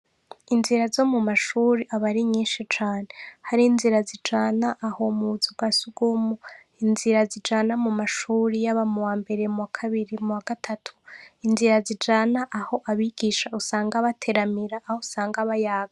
Inzira zo mu mashure aba ari nyinshi cane. Hari inzira zijana aho mu nzu kwa surwumwe, inzira zijana mu mashure yaba muwa mbere muwa kabiri muwa gatatu, inzira zijana aho abigisha usanga bateramira, aho usanga bayaga.